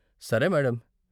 సరే మేడం.